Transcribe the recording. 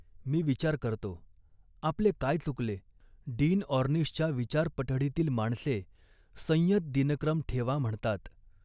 " मी विचार करतो, 'आपले काय चुकले. डीन ऑर्निशच्या विचारपठडीतली माणसे 'संयत दिनक्रम ठेवा' म्हणतात